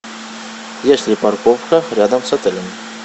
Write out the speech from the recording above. есть ли парковка рядом с отелем